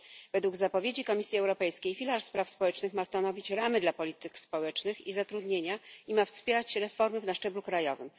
Według zapowiedzi Komisji Europejskiej filar spraw społecznych ma stanowić ramy dla polityki społecznej i zatrudnienia i ma wspierać reformy na szczeblu krajowym.